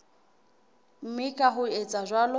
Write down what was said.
mme ka ho etsa jwalo